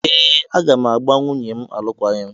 Ee! Aga m agbà nwunye m alụkwaghịm.